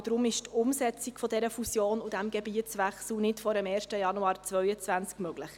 Deshalb ist die Umsetzung dieser Fusion und dieses Gebietswechsels nicht vor dem 1. Januar 2022 möglich.